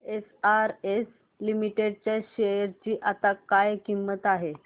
SRS Limited च्या share ची आता काय किंमत आहे